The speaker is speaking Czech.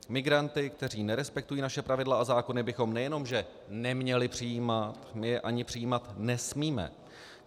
Migranty, kteří nerespektují naše pravidla a zákony, bychom nejenom že neměli přijímat, my je ani přijímat nesmíme.